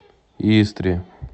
истре